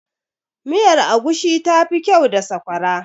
miyar agushi tafi kyau da sakwara